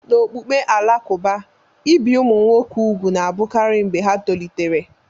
N'okpukpe Alakụba, ibi ụmụ nwoke úgwù na-abụkarị mgbe ha tolitere.